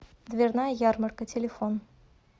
дверная ярмарка телефон